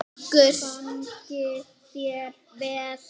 Gangi þér vel!